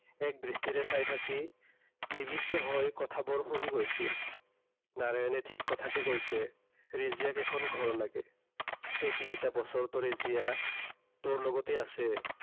এক দৃষ্টিৰে চাই থাকি নিবৃষ্ট হৈ কথাবোৰ শুনি গৈছিল। নাৰায়ণে ঠিক কথাকে কৈছে। ৰেজিয়াক এখন ঘৰ লাগে। এই তিনিটা বছৰতো তাই তোৰ লগতে আছে।